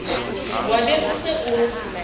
wa be o se o